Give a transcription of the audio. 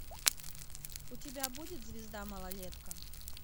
у тебя будет звезда малолетка